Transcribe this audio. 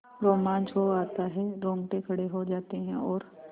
रोमांच हो आता है रोंगटे खड़े हो जाते हैं और